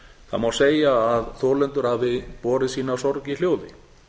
það má segja að þolendur hafi borið sína sorg í hljóði